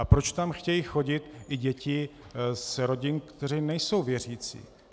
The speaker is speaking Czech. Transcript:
A proč tam chtějí chodit i děti z rodin, které nejsou věřící.